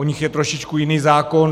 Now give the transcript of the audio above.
U nich je trošičku jiný zákon.